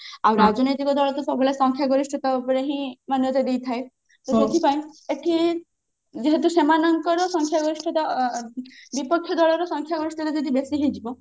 ଆଉ ରାଜନୈତିକ ଦଳ ତ ସବୁବେଳେ ସଂଖ୍ୟା ଗରିଷ୍ଠତା ଉପରେ ହିଁ ମାନେ ଯଦି ଥାଏ ସେଇଥି ପାଇଁ ଏଠି ଯେହେତୁ ସେମାନଙ୍କର ସଂଖ୍ୟା ଗରିଷ୍ଠତା ଅ ଅ ବିପକ୍ଷ ଦଳର ସଂଖ୍ୟା ଗରିଷ୍ଠତା ଯଦି ବେଶୀ ହେଇଯିବ